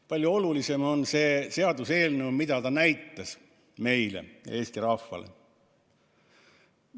Palju olulisem on, mida see seaduseelnõu näitas meile, Eesti rahvale.